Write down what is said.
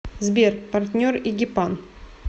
сбер партнер эгипан